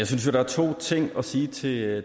synes jo der er to ting at sige sige